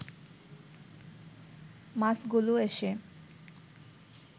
মাছগুলো এসে